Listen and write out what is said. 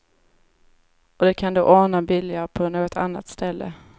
Och det kan de ordna billigare på något annat ställe.